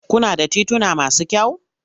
Kuna da tituna masu kyau?